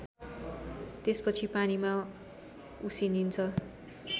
त्यसपछि पानीमा उसिनिन्छ